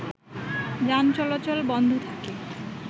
যান চলাচল বন্ধ থাকে